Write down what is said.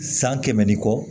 San kɛmɛ ni kɔ